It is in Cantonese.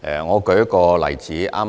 我舉一個例子。